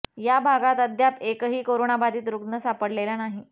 या भागात अद्याप एकही करोनाबाधित रुग्ण सापडलेला नाही